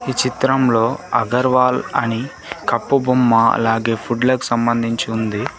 ఈ చిత్రంలో అగర్వాల్ అని కప్పు బొమ్మ అలాగే ఫుడ్ లకు సంబంధించి ఉంది.